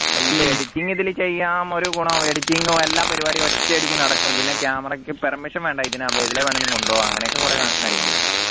ഇപ്പോ editing ഇതിൽ ചെയ്യാം ഒരു ഗുണം editing ങ്ങും എല്ലാ പരിപാടി ഒറ്റയടിക്ക് നടക്കും പിന്നെ camera യ്ക്ക് permission വേണ്ട ഇതിനാവുമ്പോ ഇതിനെ വേണേലും അങ്ങനെയൊക്കെ കുറെ കാര്യങ്ങളുണ്ട്